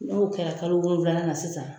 N'o kɛra kalo wolonflanan na sisan